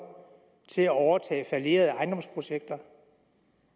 til at overtage fallerede ejendomsprojekter